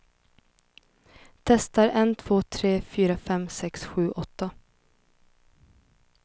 Testar en två tre fyra fem sex sju åtta.